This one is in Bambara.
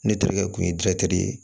Ne terikɛ kun ye ye